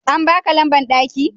An baka lamban daki?